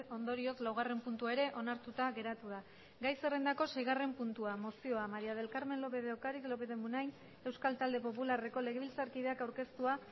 ondorioz laugarrena puntua ere onartuta geratu da gai zerrendako seigarren puntua mozioa maría del carmen lópez de ocariz lópez de munain euskal talde popularreko legebiltzarkideak aurkeztua